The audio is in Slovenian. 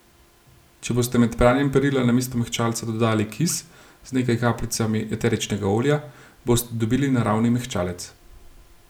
Če boste med pranjem perila namesto mehčalca dodali kis z nekaj kapljicami eteričnega olja, boste dobili naravni mehčalec.